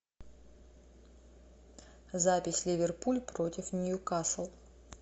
запись ливерпуль против ньюкасл